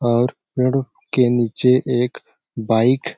और पेड़ के नीचे एक बाइक --